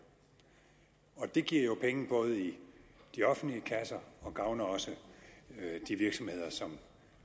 og det giver penge i de offentlige kasser og gavner også de virksomheder som